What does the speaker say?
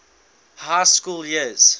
high school years